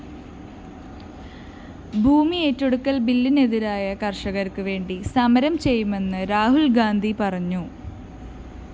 ഭൂമിയേറ്റെടുക്കല്‍ ബില്ലിനെതിരായ കര്‍ഷകര്‍ക്ക് വേണ്ടി സമരം ചെയ്യുമെന്ന് രാഹുല്‍ഗാന്ധി പറഞ്ഞു